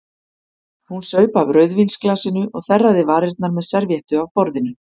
Hún saup af rauðvínsglasinu og þerraði varirnar með servíettu af borðinu.